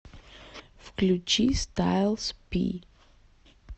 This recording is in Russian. включи стайлс пи